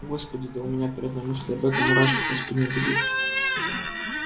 господи да у меня при одной мысли об этом мурашки по спине бегут